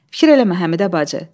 Fikir eləmə Həmidə bacı.